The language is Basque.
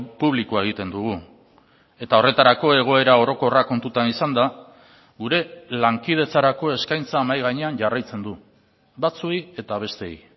publikoa egiten dugu eta horretarako egoera orokorra kontutan izanda gure lankidetzarako eskaintza mahai gainean jarraitzen du batzuei eta besteei